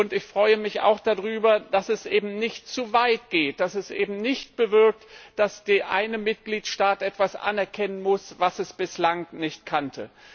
Und ich freue mich auch darüber, dass es eben nicht zu weit geht, dass es eben nicht bewirkt, dass man in einem Mitgliedstaat etwas anerkennen muss, was man dort bislang nicht kannte.